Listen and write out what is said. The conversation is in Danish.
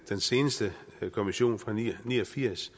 den seneste kommission fra nitten ni og firs